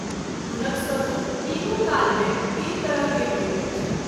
हुनक स्वरूप तीनू काल मे तीन तरह के होइत अछि।